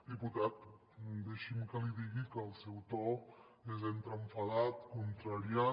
diputat deixi’m que li digui que el seu to és entre enfadat contrariat